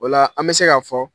O la an bɛ se ka fɔ